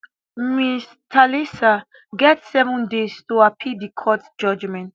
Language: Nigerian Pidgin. ms thalisa get seven days to appeal di court judgement